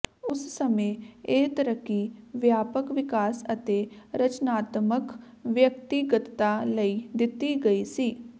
ਉਸ ਸਮੇਂ ਇਹ ਤਰੱਕੀ ਵਿਆਪਕ ਵਿਕਾਸ ਅਤੇ ਰਚਨਾਤਮਕ ਵਿਅਕਤੀਗਤਤਾ ਲਈ ਦਿੱਤੀ ਗਈ ਸੀ